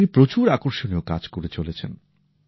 তিনি প্রচুর আকর্ষণীয় কাজ করে চলেছেন